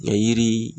Nga yiri